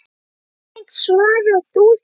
Hvernig svarar þú þeim?